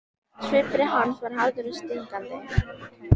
Svipur hans var harður og stingandi.